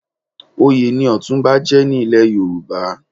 Oyè ni Ọ̀túnba jẹ́ ní ilẹ̀ Yorùbá.